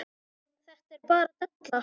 Þetta er bara della.